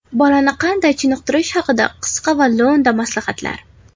Bolani qanday chiniqtirish haqida qisqa va lo‘nda maslahatlar.